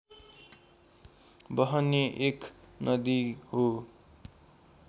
बहने एक नदी हो